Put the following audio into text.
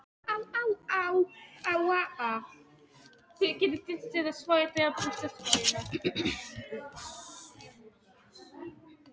Ekkert hljóð nema stígandi veðurgnýrinn og öldugjálfrið við kinnung bátsins.